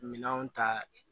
Minɛnw ta